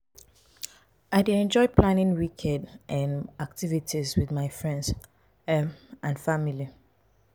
i dey enjoy planning weekend um activities with my friends um and family.